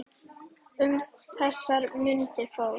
Um þessar mundir fór